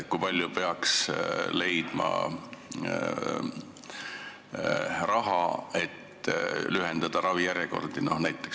Kui palju peaks leidma raha, et lühendada ravijärjekordi?